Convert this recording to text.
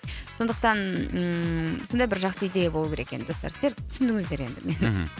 сондықтан ііі сондай бір жақсы идея болу керек енді достар сіздер түсіндіңіздер енді мені мхм